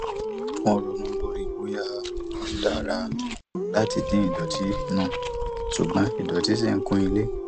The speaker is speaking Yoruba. wọn ronú lórí bóyá tó dára láti dín idọtí nu ṣùgbọn idọtí ṣì ń kún ilé